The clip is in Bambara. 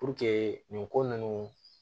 nin ko nunnu